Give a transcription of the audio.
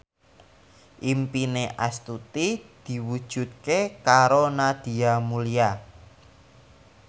impine Astuti diwujudke karo Nadia Mulya